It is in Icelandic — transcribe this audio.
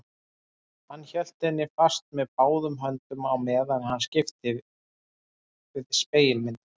Hann hélt henni fast með báðum höndum á meðan hann skipti við spegilmyndina.